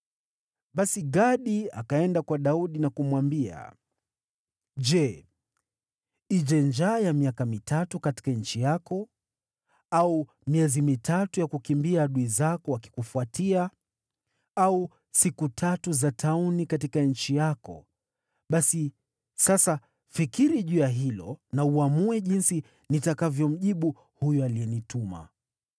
Basi Gadi akaenda kwa Daudi na kumwambia, “Je, ije njaa ya miaka mitatu katika nchi yako? Au miezi mitatu ya kukimbia adui zako wakikufuatia? Au siku tatu za tauni katika nchi yako? Basi sasa, fikiri juu ya hilo na uamue jinsi nitakavyomjibu huyo aliyenituma.”